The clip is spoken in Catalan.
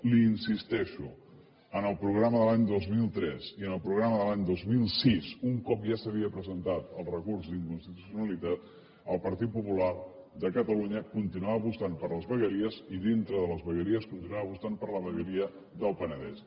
li insisteixo en el programa de l’any dos mil tres i en el programa de l’any dos mil sis un cop ja s’havia presentat el recurs d’inconstitucionalitat el partit popular de catalunya continuava apostant per les vegueries i dintre de les vegueries continuava apostant per la vegueria del penedès